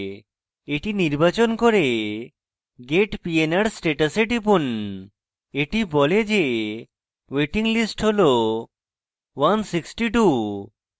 এটি নির্বাচন করে get pnr status এ টিপুন এটি বলে যে wait লিস্ট হল 162